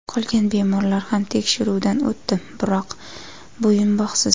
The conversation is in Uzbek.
Qolgan bemorlar ham tekshiruvdan o‘tdi, biroq bo‘yinbog‘siz.